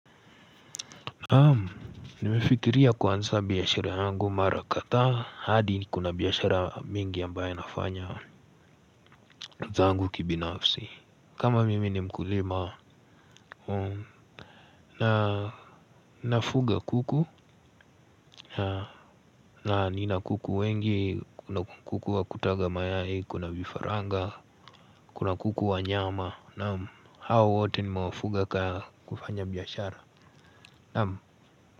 Naam, nimefikiria kuanza biashara yangu mara kadhaa hadi nikona biashara mingi ambaye nafanya zangu kibinafsi. Kama mimi ni mkulima na nafuga kuku na nina kuku wengi kuna kuku wa kutaga mayai kuna vifaranga kuna kuku wa nyama naam hao wote nimewafuga ka kufanya biashara naam.